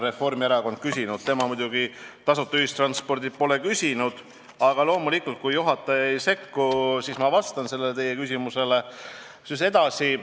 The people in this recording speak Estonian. Reformierakond muidugi tasuta ühistranspordi kohta pole küsinud, aga loomulikult, kui juhataja ei sekku, siis ma vastan teie küsimusele.